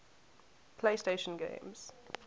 playstation games